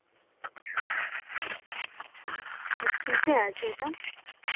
কিসে আছে ওটা